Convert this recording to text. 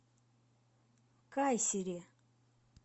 кайсери